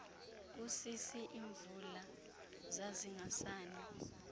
kusisi imvula zazingasani